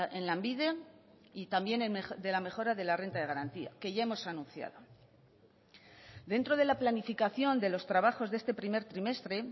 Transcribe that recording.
en lanbide y también de la mejora de la renta de garantía que ya hemos anunciado dentro de la planificación de los trabajos de este primer trimestre